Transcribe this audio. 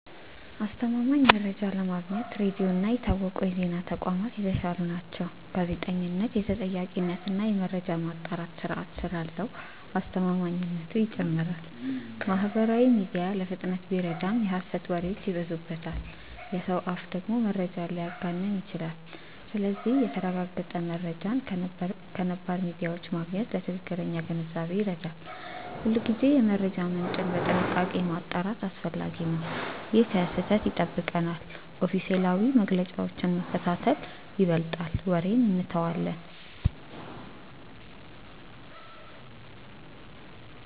አስተማማኝ መረጃ ለማግኘት ሬዲዮ እና የታወቁ የዜና ተቋማት የተሻሉ ናቸው። ጋዜጠኝነት የተጠያቂነት እና የመረጃ ማጣራት ስርዓት ስላለው አስተማማኝነቱ ይጨምራል። ማህበራዊ ሚዲያ ለፍጥነት ቢረዳም የሐሰት ወሬዎች ይበዙበታል። የሰው አፍ ደግሞ መረጃን ሊያጋንን ይችላል። ስለዚህ የተረጋገጠ መረጃን ከነባር ሚዲያዎች ማግኘት ለትክክለኛ ግንዛቤ ይረዳል። ሁልጊዜ የመረጃ ምንጭን በጥንቃቄ ማጣራት አስፈላጊ ነው። ይህ ከስህተት ይጠብቀናል። ኦፊሴላዊ መግለጫዎችን መከታተል ይበልጣል ወሬን እንተዋለን።